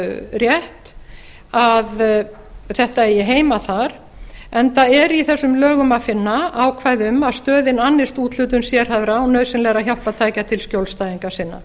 rétt að þetta eigi heima þar enda er í þessum lögum að finna ákvæði um að stöðin annist úthlutun sérhæfðra og nauðsynlegra hjálpartækja til skjólstæðinga sinna